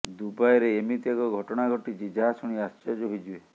ଦୁବାଇରେ ଏମିତି ଏକ ଘଟଣା ଘଟିଛି ଯାହା ଶୁଣି ଆଶ୍ଚର୍ଯ୍ୟ ହୋଇଯିବେ